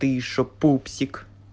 ты ещё пупсик